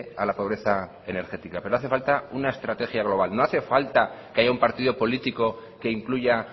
a la pobreza energética pero hace falta una estrategia global no hace falta que haya un partido político que incluya